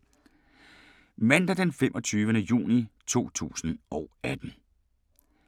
Mandag d. 25. juni 2018